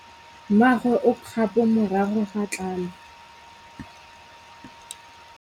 Mmagwe o kgapô morago ga tlhalô.